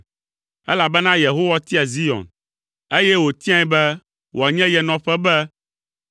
Elabena Yehowa tia Zion, eye wòtiae be wòanye ye nɔƒe be,